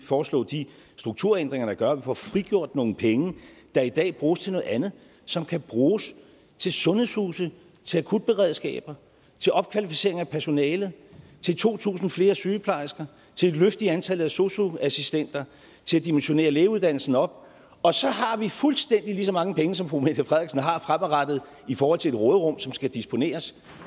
foreslå de strukturændringer der gør at vi får frigjort nogle penge der i dag bruges til noget andet som kan bruges til sundhedshuse til akutberedskaber til opkvalificering af personale til to tusind flere sygeplejersker til et løft i antallet af sosu assistenter til at dimensionere lægeuddannelsen op og så har vi fuldstændig lige så mange penge som fru mette frederiksen har fremadrettet i forhold til et råderum som skal disponeres